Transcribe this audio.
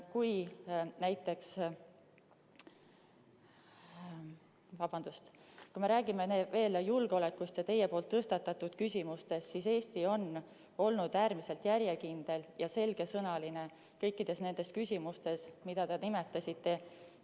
Kui me räägime julgeolekust ja teie tõstatatud küsimustest, siis Eesti on olnud äärmiselt järjekindel ja selgesõnaline kõikides nendes küsimustes, mida te nimetasite.